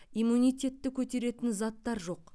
иммунитетті көтеретін заттар жоқ